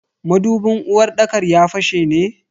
Madubin uwarɗakar ya fashe ne?